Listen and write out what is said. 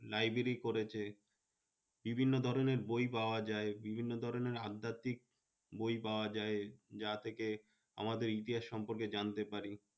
Library করেছে। ভিবিন্ন ধরণের বই পাওয়া যায়। বিভিন্ন ধরণের আধ্যাত্মিক বই পাওয়া যায়। যা থেকে আমাদের ইতিহাস সম্পর্কে জানতে পারি।